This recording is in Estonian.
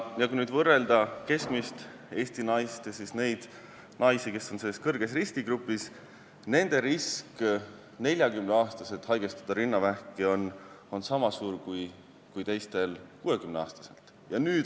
Ja kui nüüd võrrelda keskmist Eesti naist ja neid naisi, kes on selles kõrge riski grupis, siis nende risk 40-aastaselt haigestuda rinnavähki on sama suur kui teistel 60-aastaselt.